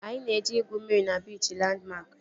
Anyị na-eje igwu mmiri na biichi Landmark